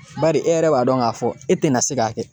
Bari e yɛrɛ b'a dɔn k'a fɔ e tɛna se k'a kɛ